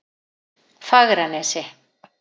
Fagranesi